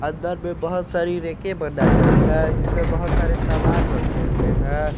अंदर में बहोत सारी रेकें बनाई हुई हैं जिसमें बहोत सारे समान रखे हुए हैं।